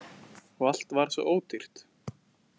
Og allt var svo ódýrt!